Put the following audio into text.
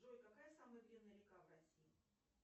джой какая самая длинная река в россии